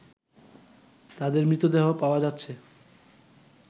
তাদের মৃতদেহ পাওয়া যাচ্ছে